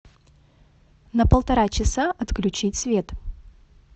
на полтора часа отключить свет